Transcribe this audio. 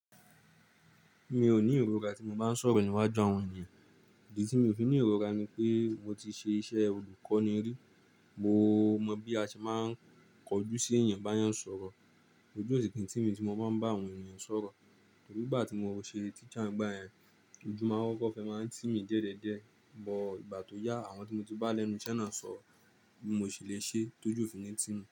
Mi ò ní ìrora tí mo bá ń sọ̀rọ̀ níwájú àwọn ènìyàn, idì tí mi ò fi ní ìrora ni pé mo ti ṣe iṣẹ́ olùkọ́ní rí, mo mọ bí a ṣe máa ń kọjú sí èèyàn bá yàn sọ̀rọ̀. Ojú ò sì kín tí mí tí mo máa ń bá àwọn ènìyàn sọ̀rọ̀, tòrí igbá tí mo ṣe teacher ń gba yẹn, ojú máa n kọ́kọ́ fẹ́ máa n tì mí diẹdiẹdiẹ, but ìgbà tó yá àwọn tí mo ti bá lẹ́nu iṣẹ́ na sọ bí mo ṣe lè ṣe tójú ò fi ní tí mi.